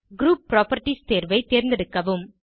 group properties தேர்வை தேர்ந்தெடுக்கவும்